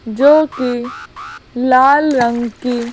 जो कि लाल रंग की--